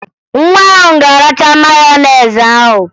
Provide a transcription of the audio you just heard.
Nwa ahụ ga-aracha meyonezi ahụ